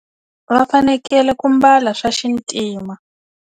Va fanekele ku mbala swa xintima.